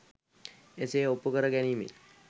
එසේ ඔප්පු කර ගැනීමෙන්